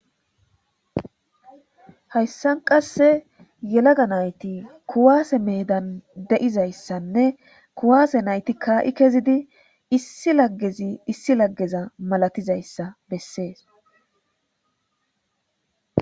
hayssan qasse yelaga nayti kuwaase meedan de7izayssanne kuwaase nayti kaa7i kezidi issi laggezi issi laggeza malatizayssa bessees